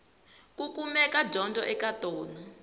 ku kumeka dyondzo eka tona